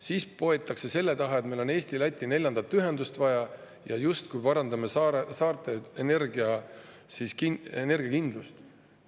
Siis poetakse selle taha, et meil on Eesti-Läti neljandat ühendust vaja ja justkui parandame saarte energiakindlust.